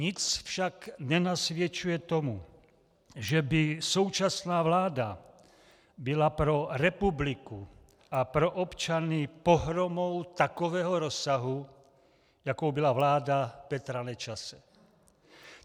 Nic však nenasvědčuje tomu, že by současná vláda byla pro republiku a pro občany pohromou takového rozsahu, jakou byla vláda Petra Nečase.